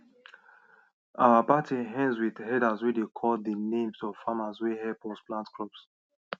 our party end with elders way dey call the names of farmers way help us plant crops